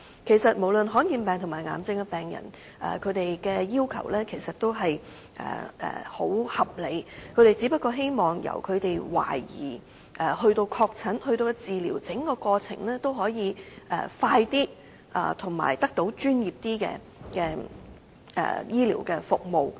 事實上，罕見疾病和癌症患者的要求也相當合理，他們只希望由懷疑染病、確診至治療的整個過程可以加快，並且得到較專業的醫療服務。